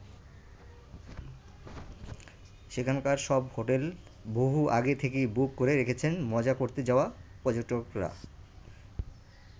সেখানকার সব হোটেল বহু আগে থেকেই বুক করে রেখেছেন মজা করতে যাওয়া পর্যটকরা।